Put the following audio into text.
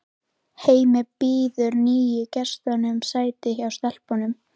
Hemmi býður nýju gestunum sæti hjá stelpunum.